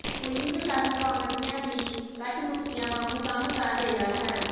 police ਪ੍ਰਸ਼ਾਸਨ ਕਾਂਗਰਸੀਆਂ ਦੀਕੱਠਪੁਤਲੀਆਂ ਵਾਗੂੰ ਕੰਮ ਕਰ ਰਿਹਾ ਹੈ